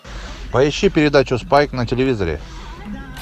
поищи передачу спайк на телевизоре